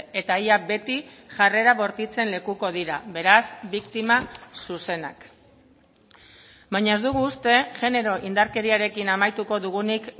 eta ia beti jarrera bortitzen lekuko dira beraz biktima zuzenak baina ez dugu uste genero indarkeriarekin amaituko dugunik